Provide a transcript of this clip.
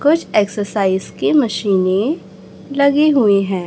कुछ एक्सरसाइज की मशीनें लगी हुई हैं।